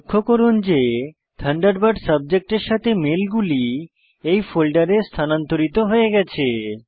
লক্ষ্য করুন যে থান্ডারবার্ড সাবজেক্টের সাথে মেলগুলি এই ফোল্ডারে স্থনান্তরিত হয়ে গেছে